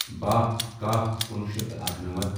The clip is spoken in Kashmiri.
باہ کَہہ کُنوُہ شیٚتھ تہٕ اَکنَمتھ